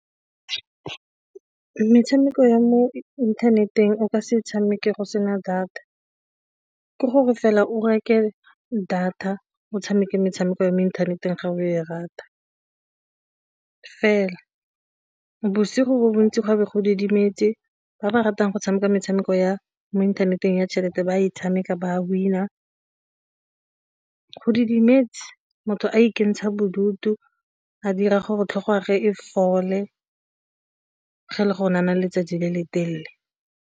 Metshameko ya mo inthaneteng o ka se e tshameke go sena data, ke gore fela o reke data o tshameke metshameko ya mo inthaneteng ga o e rata fela. Bosigo bontsi gape go didimetse ba ba ratang go tshameka metshameko ya mo inthaneteng ya tšhelete ba e tshameka ba winner go didimetse motho a ikentsha bodutu, a dira gore tlhotlhwa ge e fole ga e le gore ne a na le letsatsi le le telele.